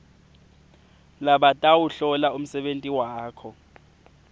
labatawuhlola umsebenti wakho